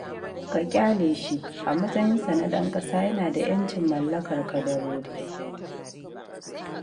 Ka ƙyale shi, a matsayinsa na ɗan ƙasa yana da 'yancin mallakar kadarori